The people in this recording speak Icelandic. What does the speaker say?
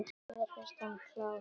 Mér finnst hann klár.